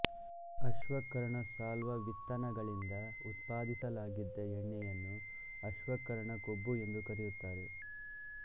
ಅಶ್ವಕರ್ಣಸಾಲ್ವ ವಿತ್ತನಗಳಿಂದ ಉತ್ಪಾದಿಸಲಾಗಿದ್ದ ಎಣ್ಣೆಯನ್ನು ಆಶ್ವಕರ್ಣ ಕೊಬ್ಬು ಎಂದು ಕರೆಯುತ್ತಾರೆ